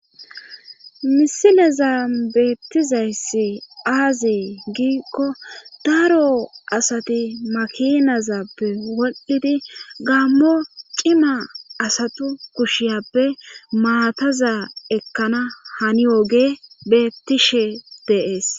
misilezan beettizayssi aaze giikkon daaro asati makinazappe woldhidi gaammo cima asatu kushiyappe maataza ekkana haniyogey beettishe de'es